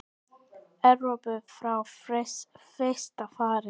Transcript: Evrópu frá fyrsta fari.